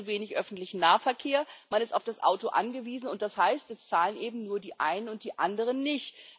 Es gibt zu wenig öffentlichen Nahverkehr, man ist auf das Auto angewiesen und das heißt, es zahlen eben nur die einen und die anderen nicht.